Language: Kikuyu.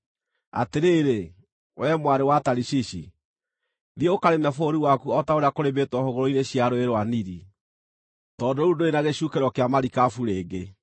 Atĩrĩrĩ, wee mwarĩ wa Tarishishi, thiĩ ũkarĩme bũrũri waku o ta ũrĩa kũrĩmĩtwo hũgũrũrũ-inĩ cia Rũũĩ rwa Nili, tondũ rĩu ndũrĩ na gĩcukĩro kĩa marikabu rĩngĩ.